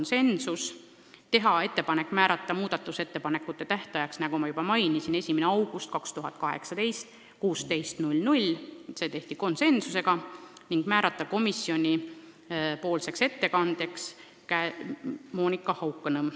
Edasi, teha ettepanek määrata muudatusettepanekute tähtajaks, nagu ma juba mainisin, 1. august 2018 kell 16.00 ning määrata komisjonipoolseks ettekandjaks Monika Haukanõmm.